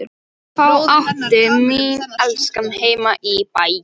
Þá átti mín elskaða heima í Bæ.